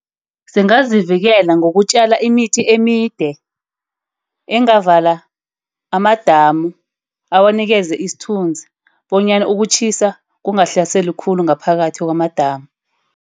Singazivikela ngokutjala imithi emide. Engavala amadamu, awanikeze isithunzi bonyana ukutjhisa kungahlaseli khulu ngaphakathi kwamadamu.